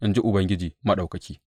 in ji Ubangiji Maɗaukaki.